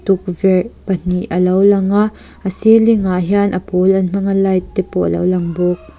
tukverh pahnih a lo lang a a ceiling ah hian a pawl an hmang a light te pawh a lo lang bawk.